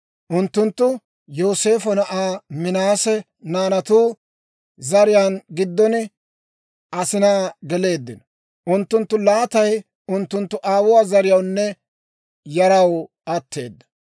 Unttunttu Yooseefo na'aa Minaase naanatu zariyaa giddon asinaa geleeddino; unttunttu laatay unttunttu aawuwaa zariyawunne yaraw atteeda.